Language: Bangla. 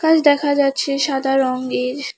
দেখা যাচ্ছে সাদা রঙ্গের ।